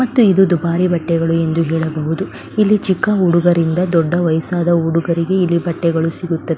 ಮತ್ತು ಇದು ದುಬಾರಿ ಬಟ್ಟೆಗಳು ಎಂದು ಹೇಳಬಹುದು. ಇಲ್ಲಿ ಚಿಕ್ಕ ಹುಡುಗರಿಂದ ದೊಡ್ಡ ವಯಸ್ಸಾದ ಹುಡುಗರಿಗೂ ಇಲ್ಲಿ ಬಟ್ಟೆಗಳು ಸಿಗುತ್ತದೆ.